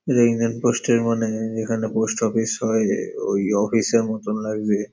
এটা Indian post -এর মানে এখানটা পোস্ট অফিস হয় ওই অফিসের মতন লাগছে।